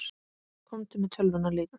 Komdu með tölvuna líka.